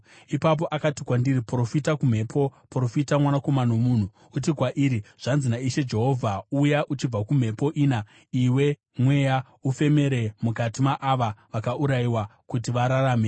Ipapo akati kwandiri, “Profita kumhepo; profita, mwanakomana womunhu, uti kwairi, ‘Zvanzi naIshe Jehovha: Uya uchibva kumhepo ina, iwe mweya, ufemere mukati maava vakaurayiwa, kuti vararame.’ ”